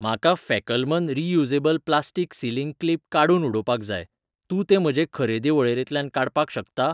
म्हाका फॅकलमन reusable plastic sealing clip काडून उडोवपाक जाय, तूं तें म्हजे खरेदी वळेरेंतल्यान काडपाक शकता?